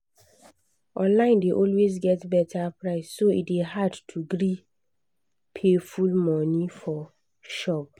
online dey always get better price so e dey hard to gree pay full money for shop.